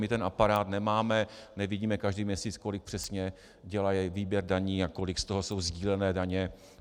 My ten aparát nemáme, nevidíme každý měsíc, kolik přesně dělá výběr daní a kolik z toho jsou sdílené daně.